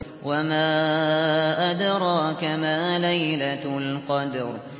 وَمَا أَدْرَاكَ مَا لَيْلَةُ الْقَدْرِ